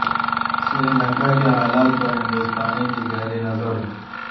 سری لنکا کے حالات پر ہندوستان کی گہری نظر